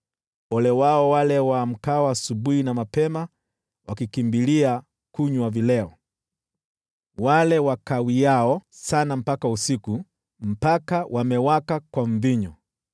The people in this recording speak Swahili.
Ole wao wale waamkao asubuhi na mapema wakikimbilia kunywa vileo, wale wakawiao sana mpaka usiku, mpaka wamewaka kwa mvinyo.